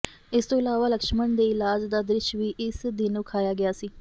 ਇਸ ਤੋਂ ਇਲਾਵਾ ਲਕਸ਼ਮਣ ਦੇ ਇਲਾਜ ਦਾ ਦ੍ਰਿਸ਼ ਵੀ ਇਸ ਦਿਨ ਵਿਖਾਇਆ ਗਿਆ ਸੀ